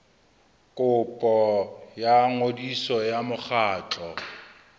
kopo ya ngodiso ya mokgatlo